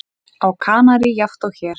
Á Kanarí jafnt og hér.